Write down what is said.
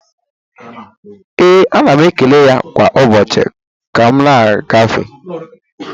Ee, ana m ekele ya kwa ụbọchị ka m na-agafe